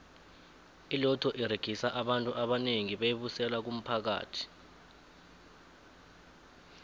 iloto uregisa abantu abanengi beyi busela kumphakathi